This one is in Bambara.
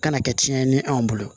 Kana kɛ tiɲɛni ye anw bolo